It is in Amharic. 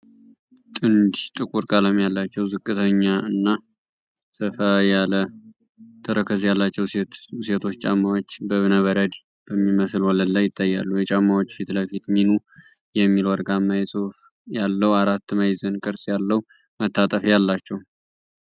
ጥንድ ጥቁር ቀለም ያላቸው፣ ዝቅተኛ እና ሰፋ ያለ ተረከዝ ያላቸው ሴቶች ጫማዎች በእብነበረድ በሚመስል ወለል ላይ ይታያሉ። የጫማዎቹ ፊት ለፊት "MINU" የሚል ወርቃማ ጽሑፍ ያለው አራት ማዕዘን ቅርጽ ያለው መታጠፊያ አላቸው።